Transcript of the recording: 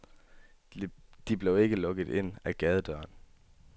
De blev lukket ind ad gadedøren.